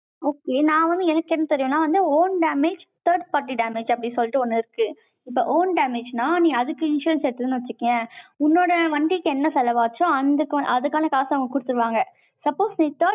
okay நான் வந்து எனக்கு என்ன தெரியும்? நான் வந்து, own damage, third party damage, அப்படின்னு சொல்லிட்டு, ஒண்ணு இருக்கு. இப்போ, own damage ன்னா, நீ அதுக்கு insurance எடுத்தேன்னு வச்சுக்கயேன், உன்னோட வண்டிக்கு, என்ன செலவாச்சோ, அந்த அதுக்கான காசை, அவங்க கொடுத்திருவாங்க suppose நீ